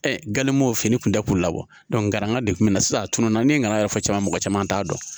galen bɔ o fini kun tɛ k'u labɔ nkaranga de kun mi na sisan a tununna ne nan'a yɛrɛ fɔ cogo min mɔgɔ caman t'a dɔn